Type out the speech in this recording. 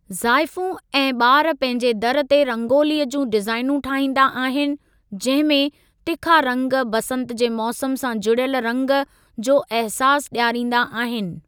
ज़ाइफूं ऐं ॿार पंहिंजे दर ते रंगोलीअ जूं डिज़ाइनूं ठाहींदा आहिनि, जंहिं में तिखा रंग बसंत जे मौसम सां जुड़ियल रंग जो अहसासु ॾियारींदा आहिनि।